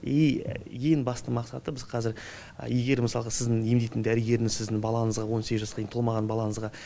и ең басты мақсаты біз қазір егер мысалға сіздің емдейтін дәрігеріңіз сіздің балаңызға он сегіз жасқа дейін толмаған балаңызға